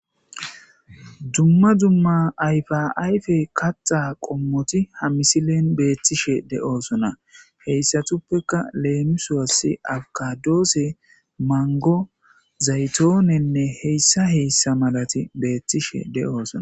dumma dumma ayfaayfe kaxa qommoti hamisilen beettishe de7oosona heyssatuppeka leemisoas awkadoose mango zaytoonenne heyssa heyssa malati beettishe de7oosona